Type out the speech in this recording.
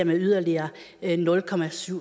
med yderligere nul